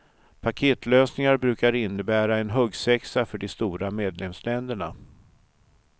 Paketlösningar brukar innebära en huggsexa för de stora medlemsländerna.